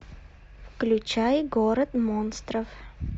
включай город монстров